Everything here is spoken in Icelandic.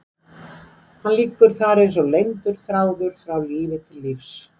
Hann liggur þar eins og leyndur þráður frá lífi til lífs.